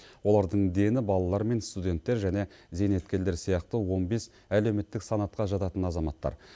олардың дені балалар мен студенттер және зейнеткерлер сияқты он бес әлеуметтік санатқа жататын азаматтар